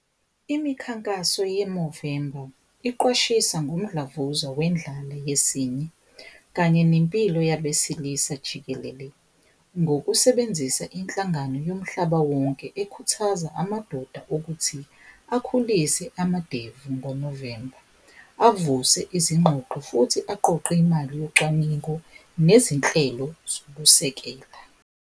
Imikhankaso yemuvimbo iqwashisa ngomdlavuza wendlala yesinye kanye nempilo yabesilisa jikelele, ngokusebenzisa inhlangano yomhlaba wonke ekhuthaza amadoda akuthi akhulise amadevu ngo-november. Avuse izingxoxo futhi aqoqe imali yocwaningo nezinhlelo zokusekela.